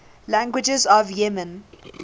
languages of yemen